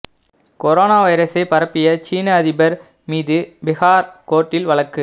corona வைரசை பரப்பிய சீன அதிபர் மீது பீஹார் கோர்ட்டில் வழக்கு